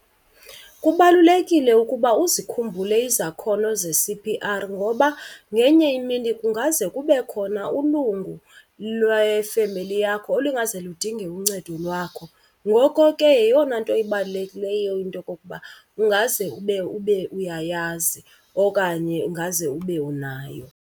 Kubalulekile ukuba uzikhumbule izakhono ze-C_P_R ngoba ngenye imini kungaze kube khona ulungu lwefemeli yakho olungaze ludinge uncedo lwakho. Ngoko ke yeyona nto ibalulekileyo into yokokuba ungaze ube uyayazi okanye ungaze ube unayo.